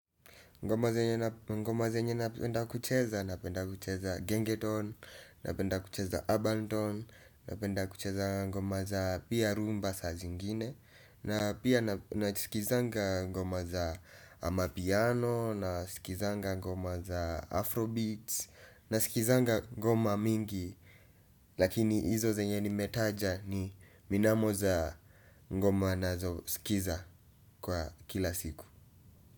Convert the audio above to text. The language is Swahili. Ngoma zenye napenda kucheza, napenda kucheza gengeton, napenda kucheza abanton, napenda kucheza ngoma za pia rumba saa zingine na pia na sikizanga ngoma za amapiano, na sikizanga ngoma za afrobeats, na sikizanga ngoma mingi lakini hizo zenye nimetaja ni minamo za ngoma nazo sikiza kwa kila siku.